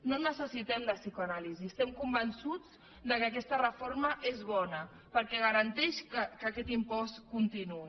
no en necessitem de psicoanàlisi estem convençuts que aquesta reforma és bona perquè garanteix que aquest impost continuï